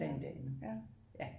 Blandt andet ja